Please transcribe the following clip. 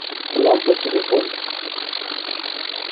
лампа телефон